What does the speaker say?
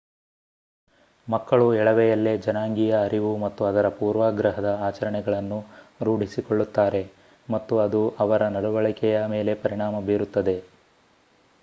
ಮಕ್ಕಳು ಎಳವೆಯಲ್ಲೇ ಜನಾಂಗೀಯ ಅರಿವು ಮತ್ತು ಅದರ ಪೂರ್ವಾಗ್ರಹದ ಆಚರಣೆಗಳನ್ನು ರೂಢಿಸಿಕೊಳ್ಳುತ್ತಾರೆ ಮತ್ತು ಅದು ಅವರ ನಡವಳಿಕೆಯ ಮೇಲೆ ಪರಿಣಾಮ ಬೀರುತ್ತದೆ